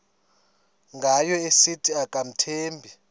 ngayo esithi akamthembi